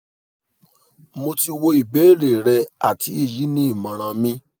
mo ti wo ìbéèrè rẹ àti èyí ni ìmọ̀ràn mi